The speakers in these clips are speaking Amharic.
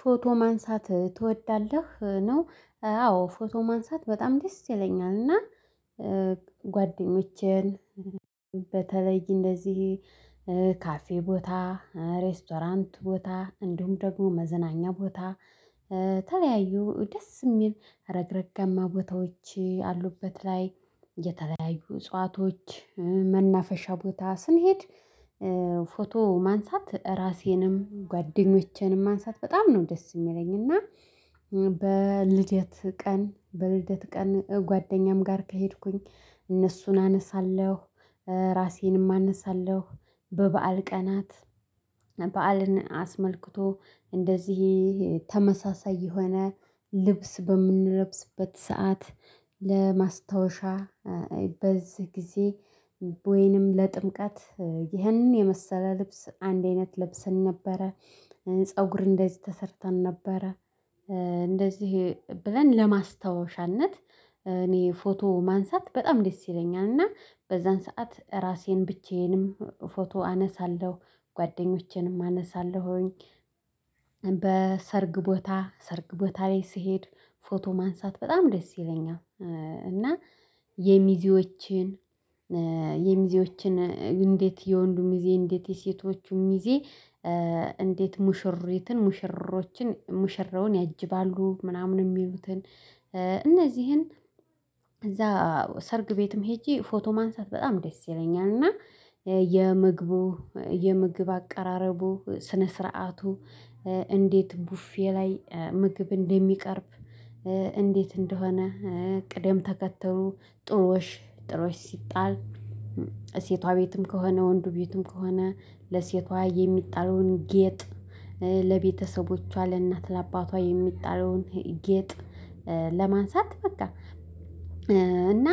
ፎቶ ማንሳት ትወዳለህ ነው? አዎ ፎቶ ማንሳት በጣም ደስ ይለኛል እና ጓደኞቼን በተለይ እንደዚህ ካፌ ቦታ ሬስቶራንት ቦታ እንዲሁም ደግሞ መዝናኛ ቦታ የተለያዩ ደስ የሚል ረግረግአማ ረግረጋማ ቦታዎች ያሉበት ላይ የተለያዩ እጽዋቶች መናፈሻ ቦታ ስንሄድ ፎቶ ማንሳት ራሴንም ጓደኞቼንም ማንሳት በጣም ነው ደስ የሚለኝ እና። በልደት ቀን በልደት ቀን ጓደኛም ጋር ከሄድኩኝ እነሱን አነሳለሁ ራሴንም አነሳለሁ በበዓል ቀናት በዓልን አስመልክቶ እንደዚህ ተመሳሳይ የሆነ ልብስ በምንለብስበት ሰዓት ለማስታወሻ በዚህ ጊዜ ወይንም ለጥምቀት ይህንን የመሰለ ልብስ አንድ አይነት ለብሰን ነበረ ፀጉር እንደዚህ ተሰርተን ነበረ እንደዚህ ብለን ለማስታወሻነት እኔ ፎቶ ማንሳት በጣም ደስ ይለኛል እና በዛን ሰዓት ራሴን ብቻዬንም ፎቶ አነሳለሁ ጓደኞቼንም አነሳለሁኝ። በሰርግ ቦታ ሰርግ ቦታ ላይ ስሄድ ፎቶ ማንሳት በጣም ደስ ይለኛል። እና የሚዜዎችን የሚዜዎችን እንዴት የወንዱ ሚዜ እንዴት የሴቶቹን ሚዜ እንዴት ሙሽሪትን ሙሽሮችን ሙሽራውን ያጅባሉ ምናምን የሚሉትን እነዚህን እዛ ሰርግ ቤትም ሄጄ ፎቶ ማንሳት በጣም ደስ ይለኛል። እና የምግቡ የምግብ አቀራረቡ ስነ ስርዓቱ እንዴት ቡፌ ላይ ምግብ እንደሚቀርብ እንዴት እንደሆነ ቅደም ተከትሎ ጥሎሽ ጥሎሽ ሲጣል ሴቷ ቤትም ከሆነ ወንዱ ቤትም ከሆነ ለሴቷ የሚጣለውን ጌጥ ለቤተሰቦቿ ለእናት ለአባቷ የሚጣለውን ጌጥ ለማንሳት በቃ። እና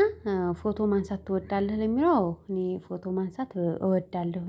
ፎቶ ማንሳት ትወዳለህ ለሚለው እኔ ፎቶ ማንሳት እወዳለሁ።